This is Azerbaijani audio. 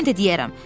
Mən də deyərəm: